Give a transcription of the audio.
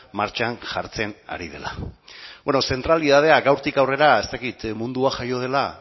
martxan jartzen ari dela bueno zentralitatea gaurtik aurrera ez dakit mundua jaio dela